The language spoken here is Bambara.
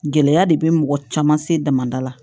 Gɛlɛya de bɛ mɔgɔ caman se damada la